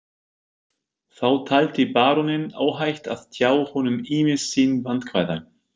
Þá taldi baróninn óhætt að tjá honum ýmis sín vandkvæði.